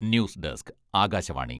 news desk, Akashvani..